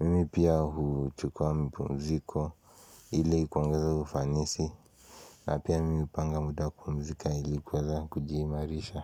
Mimi pia huchukuwa mpumziko ili kuongeza ufanisi na pia mimi upanga muda wa kupumzika ili kuweza kujiimarisha.